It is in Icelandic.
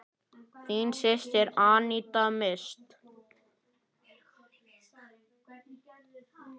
Þín systir, Aníta Mist.